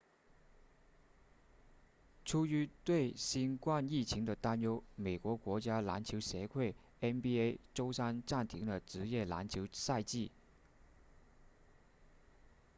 出于对新冠疫情的担忧美国国家篮球协会 nba 周三暂停了职业篮球赛季